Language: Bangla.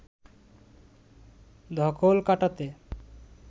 ধকল কাটাতে